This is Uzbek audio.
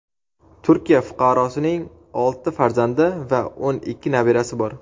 Turkiya fuqarosining olti farzandi va o‘n ikki nabirasi bor.